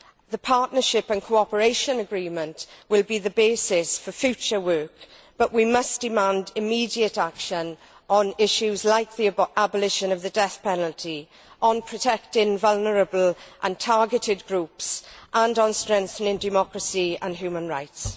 The partnership and cooperation agreement will be the basis for future work, but we must demand immediate action on issues like the abolition of the death penalty, on protecting vulnerable and targeted groups and on strengthening democracy and human rights.